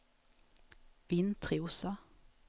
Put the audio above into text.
Vintrosa